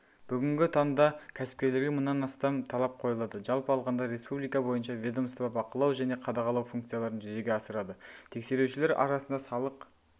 бүгінгі таңда кәсіпкерлерге мыңнан астам талап қойылады жалпы алғанда республика бойынша ведомство бақылау және қадағалау функцияларын жүзеге асырады тексерушілер арасында салық